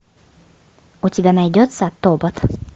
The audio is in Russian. у тебя найдется тобот